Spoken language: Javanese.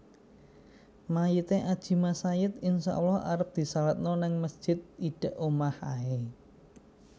Mayite Adjie Massaid insya Allah arep disalatno nang mesjid idek omah ae